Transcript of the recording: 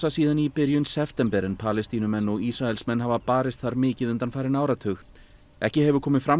síðan í byrjun september en Palestínumenn og Ísraelsmenn hafa barist þar mikið undanfarinn áratug ekki hefur komið fram